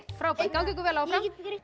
frábært gangi ykkur vel áfram